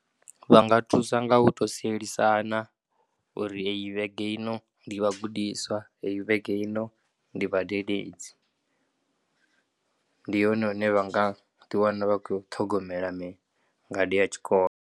Vha nga thusa nga u tou sielisana uri heyi vhege ino ndi vhagudiswa, heyi vhege ino ndi vhadededzi. Ndi hone hune vha nga ḓiwana vha khou ya u ṱhogomela ngade ya tshikolo.